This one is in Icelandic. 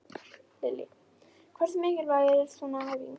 Lillý: Hversu mikilvæg er svona æfing?